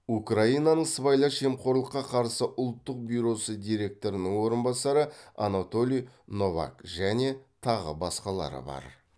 украинаның сыбайлас жемқорлыққа қарсы ұлттық бюросы директорының орынбасары анатолий новак және тағы басқалары бар